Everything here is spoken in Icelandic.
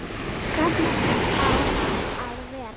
Hvernig á hann að vera?